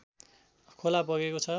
खोला बगेको छ